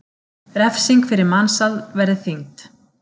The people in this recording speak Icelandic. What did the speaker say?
Refsing fyrir mansal verði þyngd